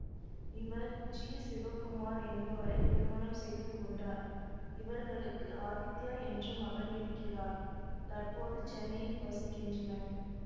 இவர் ஜி சிவகுமார் என்பவரை திருமணம் செய்துகொண்டார் இவர்களுக்கு ஆதித்யா என்ற மகன் இருக்கிறார் தற்போது சென்னையில் வசிக்கின்றனர்